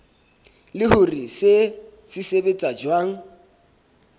le hore se sebetsa jwang